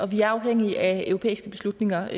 vi er afhængige af europæiske beslutninger